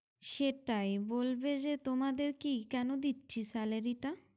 সেটাই বলবে যে তোমাদের কি কেন দিচ্ছি salary টা